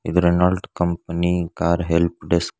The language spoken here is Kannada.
ಇದು ರೆನಾಲ್ಟ್ ಕಂಪನಿ ಕಾರ್ ಹೆಲ್ಪಡೆಸ್ಕ್ .